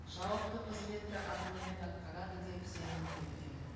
жауапты қызметті абыроймен атқарады деп сенім білдіремін